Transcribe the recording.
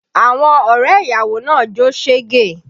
Àwọn ọrẹ ìyàwó náà ń jó sege